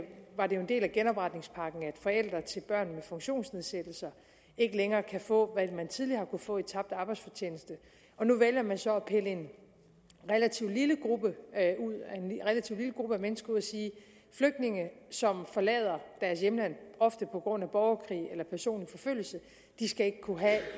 var det jo en del af genopretningspakken at forældre til børn med funktionsnedsættelser ikke længere kan få hvad man tidligere har kunnet få i tabt arbejdsfortjeneste og nu vælger man så at pille en relativt lille gruppe af mennesker ud og sige flygtninge som forlader deres hjemland ofte på grund af borgerkrig eller personlig forfølgelse skal ikke kunne have